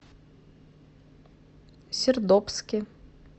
сердобске